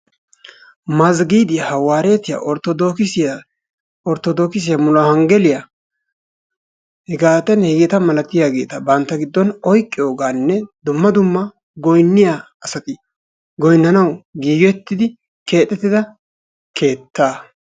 Mazgiidiya, Hawaareetiyaa, Orttodoogisiya, Orttodoogisiya ,Muluwonggeliya hegeetanne hegeeta milatiyaageta bantta giddon oyqqiyoogaanne dumma dumma goynniyaa asati goynnanawu giigettidi keexettida keettaa.